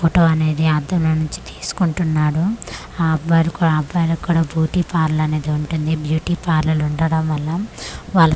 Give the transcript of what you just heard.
photo అనేది అద్దంలో నుంచి తీసుకుంటున్నాడు ఆ అబ్బ--అబ్బాయిలకు కూడా బ్యూటీ పార్లర్ అనేది ఉంటుందిబ్యూటీ పార్లర్ ఉండడం వల్ల వాళ్ళ ఫేస్ అనే--